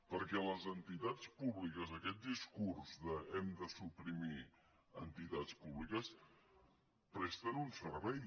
perquè les entitats públiques aquest discurs d’ hem de suprimir entitats públiques presten un servei